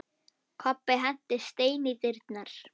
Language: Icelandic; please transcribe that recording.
Kobbi henti steini í dyrnar.